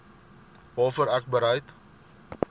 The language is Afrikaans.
waarvoor ek bereid